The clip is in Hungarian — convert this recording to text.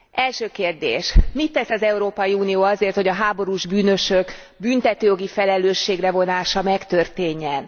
Első kérdés mit tesz az Európai Unió azért, hogy a háborús bűnösök büntetőjogi felelősségre vonása megtörténjen?